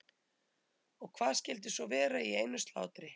En hvað skyldi svo vera í einu slátri?